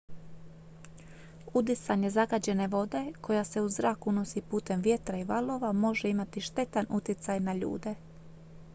udisanje zagađene vode koja se u zrak unosi putem vjetra i valova može imati štetan utjecaj na ljude